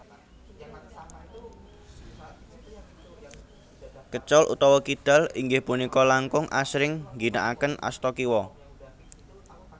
Kécol utawi kidal inggih punika langkung asring ngginakaken asta kiwa